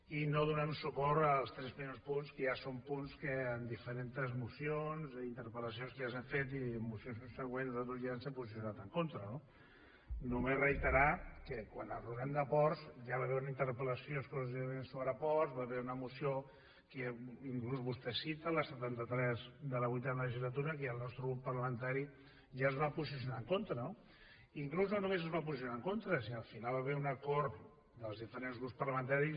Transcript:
i no donarem suport als tres primers punts que ja són punts que en diferents mocions interpel·lacions que ja s’han fet i mocions subsegüents nosaltres ja ens hem posicionat en contra no només reiterar que quan enraonem de ports ja hi va haver una interpel·lació exclusivament sobre ports va haver hi una moció que inclús vostè cita la setanta tres de la vuitena legislatura que ja el nostre grup parlamentari es va posicionar en contra no i inclús no només es va posicionar en contra sinó que al final hi va haver un acord dels diferents grups parlamentaris